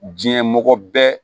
Diɲɛ mɔgɔ bɛɛ